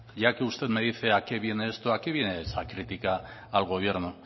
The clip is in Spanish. ya que usted me dice a qué viene esto a qué viene esta crítica al gobierno